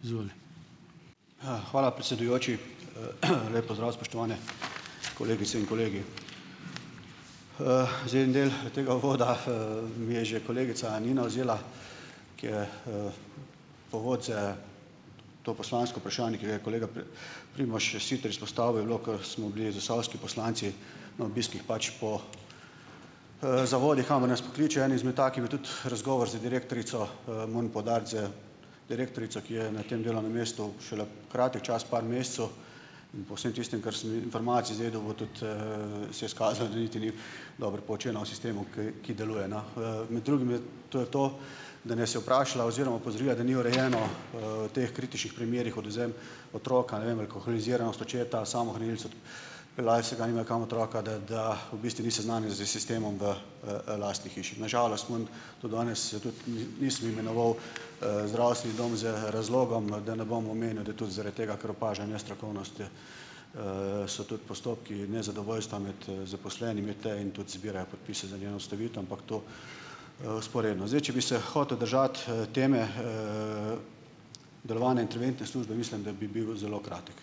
Izvoli. hvala, predsedujoči, lep pozdrav, spoštovane kolegice in kolegi. Zdaj, en del tega uvoda je že kolegica Nina vzela, ki je povod za to poslansko vprašanje, ki ga je kolega Primož Siter izpostavil, je bilo, kar smo bili zasavski poslanci na obiskih pač po zavodih, kamor nas pokličejo, eden izmed takih je bil tudi razgovor z direktorico, moram poudariti, z direktorico, ki je na tem delovnem mestu šele kratek čas, par mesecev, po vsem tistem, kar sem informacij zvedel od, od se je izkazalo, da niti ni dobro poučena o sistemu, ki, ki deluje na. Med drugim, to je to, da nas je vprašala oziroma opozorila, da ni urejeno teh kritičnih primerih odvzem otroka. Eno je alkoholiziranost očeta, samohranilstvo, , da nimajo kam otroka dati, da v bistvu ni seznanjena s sistemom v lastni hiši. Na žalost moram to danes, tudi nisem imenoval zdravstveni dom z razlogom, da ne bom omenil, da tudi zaradi tega, ker opaža nestrokovnostjo, so tudi postopki nezadovoljstva med zaposlenimi tej in tudi zbirajo podpise za njeno ustavitev, ampak to vzporedno. Zdaj, če bi se hotel držati teme delovanja interventne službe, mislim, da bi bil zelo kratek.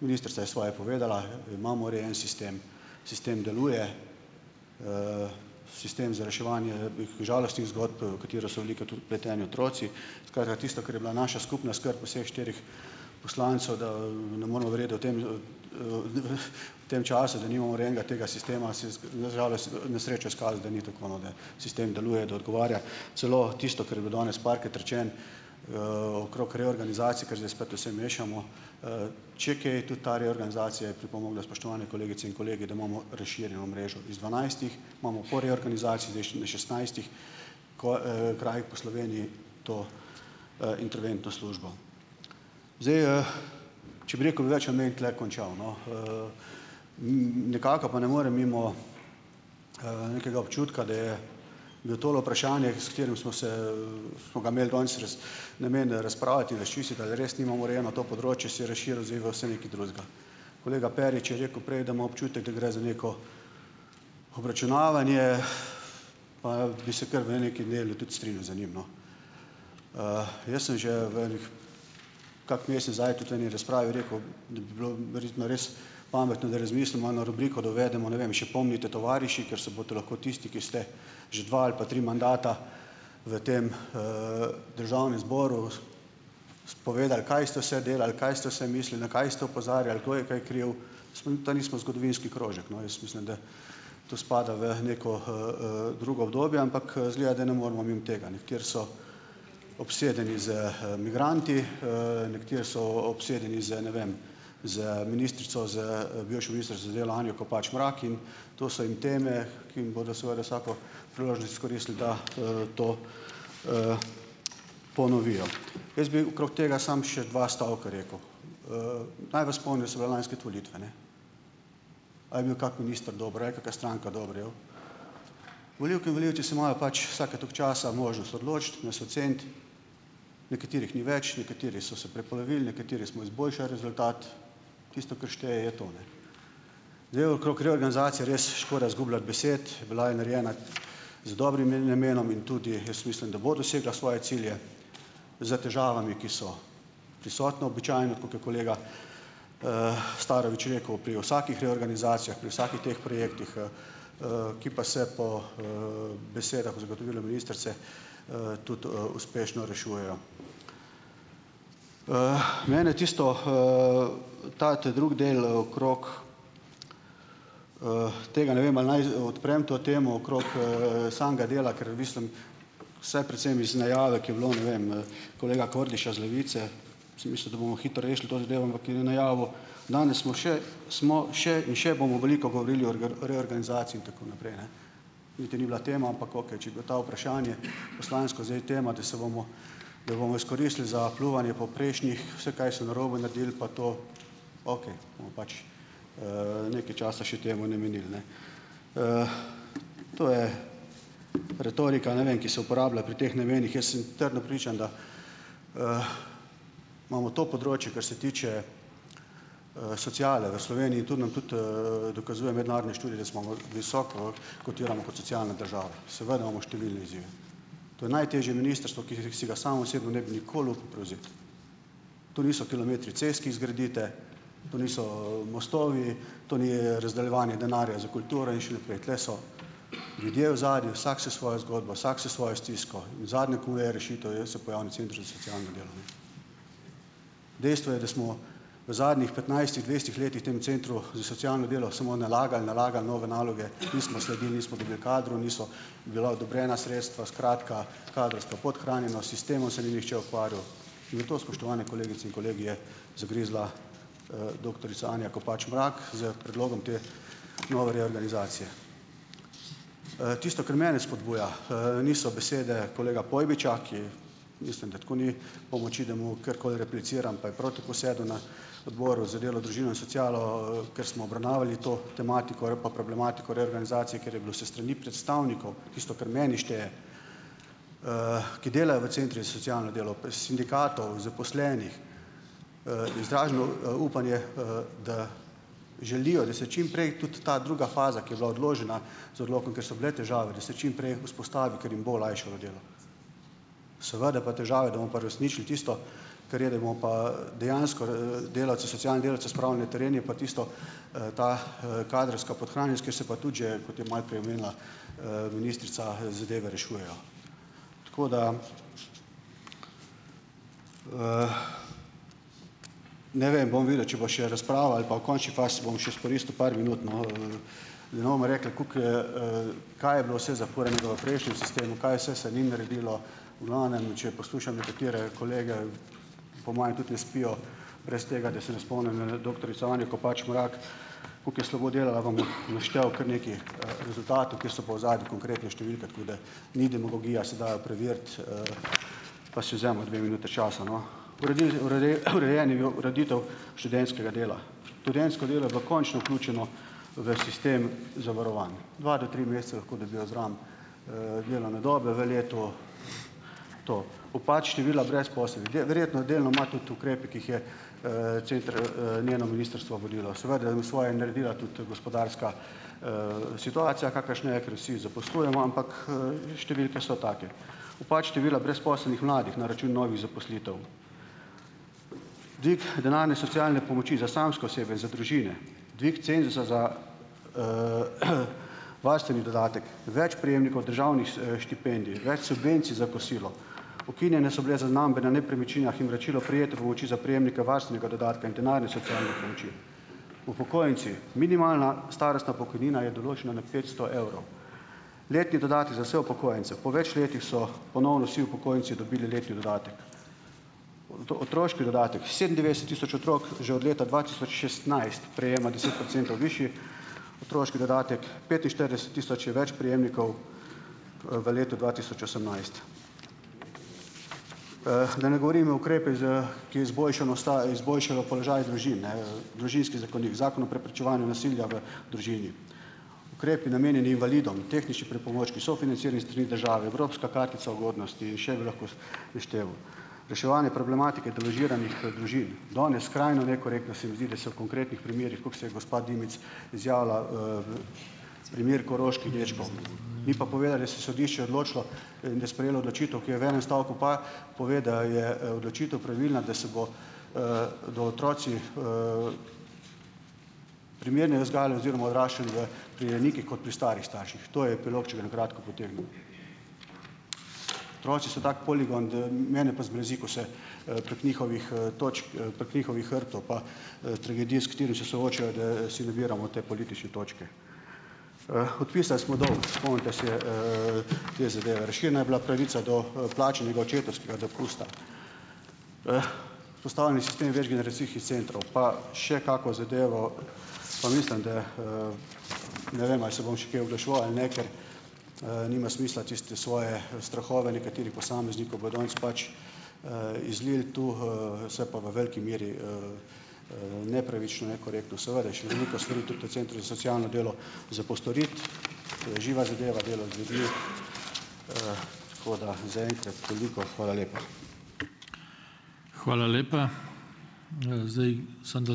ministrica je svoje povedala, imamo urejen sistem, sistem deluje sistem za reševanje žalostnih zgodb, v katero so velikokrat tudi vpleteni otroci, skratka tisto, kar je bila naša skupna skrb vseh štirih poslancev, da ne moremo verjeti, da o tem v tem času, da nimamo urejenega tega sistema, se je na žalost, na srečo izkazalo, da ni tako no, ne, da sistem deluje, da odgovarja, celo tisto, kar je bilo danes parkrat rečeno okrog reorganizacije, kar zdaj spet vse mešamo, če kaj, tudi ta reorganizacija pripomogla, spoštovane kolegice in kolegi, da imamo razširjeno mrežo iz dvanajstih imamo po reorganizaciji v šestnajstih po krajih po Sloveniji to interventno službo. Zdaj če bi rekel več, tule končal, no. nekako pa ne morem mimo nekega občutka, da je bil tole vprašanje, s katerim smo se smo ga imeli danes namen razpravljati, razčistiti, ali res nimamo urejeno to področje, se je razširil zdaj v vse nekaj drugega. Kolega Perič je rekel prej, da ima občutek, da gre za neko obračunavanje pa bi se kar v nekem delu tudi strinjal za njim, no. jaz sem že v enih, kak mesec zdaj tudi v eni razpravi rekel, da bi bilo verjetno res pametno, da razmislimo eno rubriko, da uvedemo, ne vem, še pomnite, tovariši, ker se bodo lahko tisti, ki ste že dva ali pa tri mandata v tem Državnem zboru, spovedali, kaj ste vse delali, kaj ste vse mislili, na kaj ste opozarjali, kdo je kaj kriv, da nismo zgodovinski krožek, no, jaz mislim, da to spada v neko drugo obdobje, ampak izgleda, da ne moremo mimo tega, ne, ker so obsedeni z migranti nekateri so obsedeni z ne vem, z ministrico, z bivšo ministrico za delo, Anjo Kopač Mrak, in to so in teme, ki jim bodo seveda vsako priložnost izkoristili, da to ponovijo . Jaz bi okrog tega samo še dva stavka rekel. naj vas spomnim, da so bile lansko leto volitve, ne. A je bil kak minister dobre, kaka stranka dobre? Volivke in volivci se morajo pač vsake toliko časa možnost odločiti, nas oceniti, nekaterih ni več, nekateri so se prepolovili, nekateri smo izboljšali rezultat, tisto, kar šteje je to, ne. Zdaj okrog reorganzacije res škoda zgubljati besed, bila je narejena z dobrim , in tudi jaz mislim, da bo dosegla svoje cilje za težavami, ki so prisotna običajno, tako kot kolega Starovič rekel, pri vsakih reorganizacijah, pri vsakih teh projektih , ki pa se po besedah, zagotovilu ministrice tudi uspešno rešujejo. mene tisto, ta, ta drugi del okrog tega, ne vem ali naj odprem to temo, okrog samega dela, ker mislim, vse precemi se nejave, ki je bilo, ne vem , kolega Kordiša iz Levice, sem mislil, da bomo hitro rešili to zadevo, ampak je najavil: "Danes smo še, smo še in še bomo veliko govorili o reorganizaciji in tako naprej, ne." Niti ni bila tema, ampak okej, če je bila ta vprašanje poslansko zdaj tema, da se bomo, da bomo izkoristili za pljuvanje po prejšnjih, vse, kaj so narobe naredili pa to, okej, bomo pač nekaj časa še temu namenili, ne." to je retorika, ne vem, ki se uporablja pri teh namenih, jaz sem trdno prepričan, da imamo to področje, kar se tiče sociale v Sloveniji, tudi nam tudi dokazuje mednarodni študi, da smo visoko kotiramo kot socialna država . Seveda imamo številne izjeme. To je najtežje ministrstvo, ki si ga sam osebno ne bi nikoli upal prevzeti. To niso kilometri cest, ki jih zgradite, to niso mostovi, to ni razdeljevanje denarja za kulturo in še naprej. Tule so ljudje v ozadju, vsak s svojo zgodbo, vsak s svojo stisko. In zadnje, ko je rešitev, je, se pojavi na centrov za socialno delo . Dejstvo je, da smo v zadnjih petnajstih, dvajsetih letih v tem centru za socialno delo samo nalagali, nalagali nove naloge, nismo sledili, nismo imeli kadrov, niso bila odobrena sredstva, skratka, kadrovska podhranjenost, sistemom se ni nihče ukvarjal, zato, spoštovane kolegice in kolegi, je zagrizla doktorica Anja Kopač Mrak s predlogom te nove reorganizacije . tisto, kar mene spodbuja niso besede kolega Pojbiča, ki, mislim, da tako ni pomoči, da mu karkoli repliciram, pa je prav tako sedel na Odboru za delo, družino in socialo ker smo obravnavali to tematiko pa problematiko reorganizacije, ker je bilo s strani predstavnikov, tisto, kar meni šteje, ki delajo v centrih z socialno delo, pri sindikatov, zaposlenih, izraženo upanje da želijo, da se čimprej tudi ta druga faza, ki je bila odložena z odlokom, ker so bile težave, da se čimprej vzpostavi, ker jim bo olajšalo delo. Seveda pa težave, da mo pa uresničili tisto, kar je, da bomo pa dejansko delavce, socialne delavce spravili na teren, je pa tisto ta kadrovska podhranjenost, kjer se pa tudi že, kot je malo prej omenila ministrica, zadeve rešujejo. Tako da, ne vem, bom videl, če bo še razprava, ali pa v končni fazi, bom še izkoristil par minut, no , da ne bomo rekli, koliko kaj je bilo vse zafuranega v prejšnjem sistemu , kaj vse se ni naredilo, v glavnem, če poslušam nekatere kolege po moje tudi ne spijo brez tega, da se ne spomnim doktorico Anjo Kopač Mrak, koliko je slabo delala, vam bom naštel kar nekaj rezultatov, kjer so pa v ozadju konkretne številke , tako da ni demologija, se da preveriti , pa si vzemimo dve minuti časa, no. Uredil, urejen je bil , ureditev študentskega dela. Študentsko delo je bilo končno vključeno v sistem zavarovanj. Dva do tri mesece lahko dobijo zraven delovne dobe v letu to. Upad števila brezposelnih. Verjetno delno ima tudi ukrepe, ki jih je center njeno ministrstvo volilo. Seveda bo svoje naredila tudi gospodarska situacija, kakršna je, ker vsi zaposlujemo , ampak številke so take. Upad števila brezposelnih mladih na račun novih zaposlitev, dvig denarne socialne pomoči za samske osebe, za družine, dvig cenzusa za varstveni dodatek, več prejemnikov državnih štipendij, več subvencij za kosilo. Ukinjene so bile zaznambe na nepremičninah in vračilo prejetih pomoči prejemnika varstvenega dodatka in denarne socialne pomoči . Upokojenci, minimalna starostna pokojnina je določena na petsto evrov. Letni dodatki za vse upokojence. Po več letih so ponovno vsi upokojenci dobili letni dodatek. otroški dodatek, sedemindevetdeset tisoč otrok že od leta dva tisoč šestnajst prejema deset procentov višji otroški dodatek. Petinštirideset tisoč je več prejemnikov v letu dva tisoč osemnajst. da ne govorim o ukrepih za k izboljšano izboljšalo položaj družin, ne Družinski zakonik, Zakon o preprečevanju nasilja v družini. Ukrepi, namenjeni invalidom, tehnični pripomočki, sofinancirani s strani države, Evropska kartica ugodnosti in še bi lahko s, našteval. Reševanje problematike deložiranih družin . Danes skrajno nekorektno se mi zdi, da se v konkretnih primerih, kako se je gospa Dimic izjavila, primer koroških dečkov . In pa povedali so, sodišče odločilo, je sprejelo odločitev, ki v enem stavku pa pove, da je odločitev pravilna, da se bo do otroci primerni vzgajali oziroma odraščali, da pri rejnikih kot pri starih starših. To je epilog, če ga na kratko potegnem. Otroci so tak poligon, da mene pa zmrazi, ko se prek njihovih točk prek njihovih hrbtov pa tragedije, s katerimi se soočajo, da si nabiramo te politične točke. podpisali smo dolg, spomnite se te zadeve. Razširjena je bila pravica do plačanega očetovskega dopusta . Postavljen sistem večgeneracijskih centrov . Pa še kako zadevo, pa mislim, da , ne vem, ali se bom še kaj oglaševal ali ne, ker nima smisla, tiste svoje strahove nekaterih posameznikov bojo danes pač izlili tu, se pa v veliki meri nepravično, nekorektno. Seveda, še veliko stvari tudi v centru za socialno delo za postoriti. To je živa zadeva, delo . Tako da zaenkrat toliko. Hvala lepa. Hvala lepa. Zdaj samo da ...